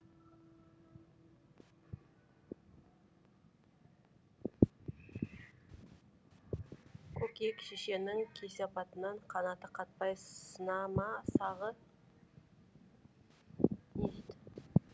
көкек шешенің кесепатынан қанаты қатпай сына ма сағы